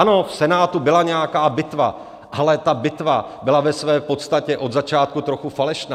Ano, v Senátu byla nějaká bitva, ale ta bitva byla ve své podstatě od začátku trochu falešná.